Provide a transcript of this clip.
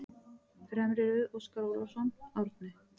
Fremri röð: Óskar Ólafsson, Árni